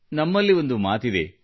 ನಮ್ಮಲ್ಲಿ ಒಂದು ಮಾತಿದೆ